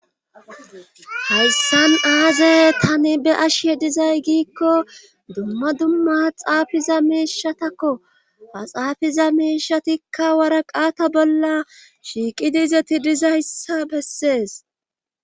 hayssan aaze tani be ashe dizay giikko dumma dumma xaafiza miishatakko axaafiza miishatikka waraqaata bolla shiiqidiizeti dizayssa bessees